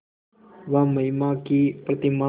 वह महिमा की प्रतिमा